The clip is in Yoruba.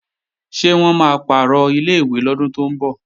Ṣé wọ́n máa pàrọ̀ ilé-ìwé lọ́dún tó ń bọ̀?